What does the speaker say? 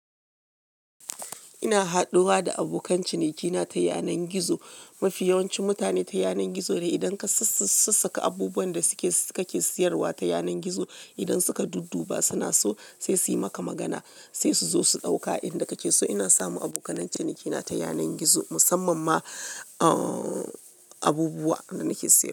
Ina haduwa da abokan cinikina ta yanan gizo. Mafi yawancin mutane ta yanan gizo ne. Idan ka sassaka abubuwan da suke kake sayarwa ta yanan gizo, idan suka dudduba suna so sai su yi maka magana, sai su zo su ɗauka inda kake so. Ina samun abokan cinikina ta yanan gizo, musamman ma, uh, abubuwa da nake siya.